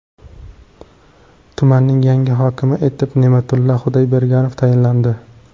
Tumanning yangi hokimi etib Ne’matulla Xudoyberganov tayinlandi.